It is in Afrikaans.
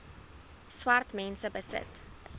swart mense besit